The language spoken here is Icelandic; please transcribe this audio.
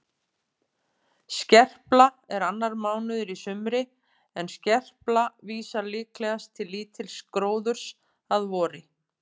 Skerpla er annar mánuður í sumri en skerpla vísar líklegast til lítils gróðurs að vori.